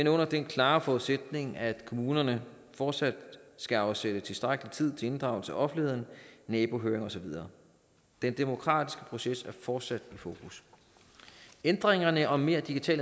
er under den klare forudsætning at kommunerne fortsat skal afsætte tilstrækkelig tid til inddragelse af offentligheden nabohøring og så videre den demokratiske proces er fortsat i fokus ændringerne om mere digital